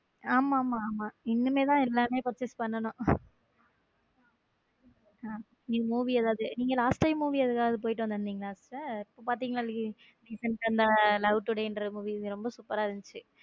ஆமா ஆமா இனிமேல் தான் எல்லாமே purchase பண்ணனும் movie ஏதாவது நீங் last time movie ஏதாவது போயிட்டு இருந்தீங்க sister பார்த்தீங்களா recent ஆ love today என்கிற movie ரொம்ப super ரா இருந்துச்சு.